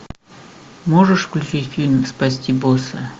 можешь включить фильм спасти босса